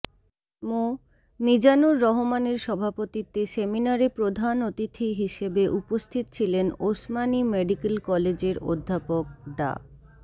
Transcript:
মোঃ মিজানুর রহমানের সভাপতিত্বে সেমিনারে প্রধান অতিথি হিসেবে উপস্থিত ছিলেন ওসমানী মেডিকেল কলেজের অধ্যাপক ডা